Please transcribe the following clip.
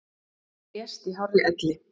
Hún lést í hárri elli.